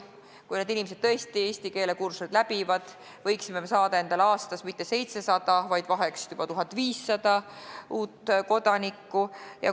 Kui need inimesed tõesti eesti keele kursused läbi teevad, võiksime saada aastas mitte 700, vaid vahest juba 1500 uut kodanikku.